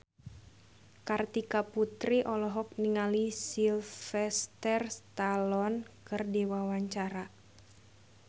Kartika Putri olohok ningali Sylvester Stallone keur diwawancara